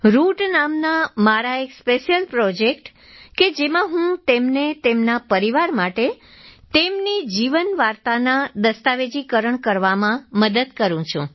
route નામના મારા એક સ્પેશિયલ પ્રોજેક્ટ કે જેમાં હું તેમને તેમના પરિવાર માટે તેમની જીવન વાર્તાના દસ્તાવેજીકરણ કરવામાં મદદ કરું છું